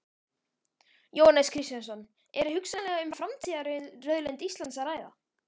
Jóhannes Kristjánsson: Er hugsanlega um framtíðarauðlind Íslands að ræða?